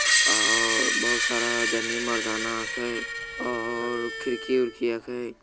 और बहुत सारा जननी मर्दाना हकै और खिड़की उड़की हकै ।